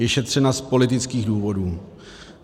Je šetřena z politických důvodů.